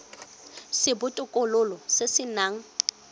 sa botokololo se se nang